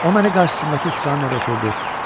O məni qarşısındakı stulda oturudur.